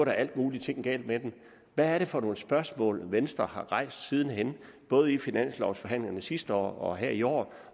er alt muligt galt med den hvad er det for nogle spørgsmål som venstre har rejst sidenhen både i finanslovforhandlingerne sidste år og her i år